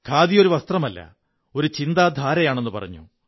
ഖാദി ഒരു വസ്ത്രമല്ല ഒരു ചിന്താധാരയാണെന്നു പറഞ്ഞു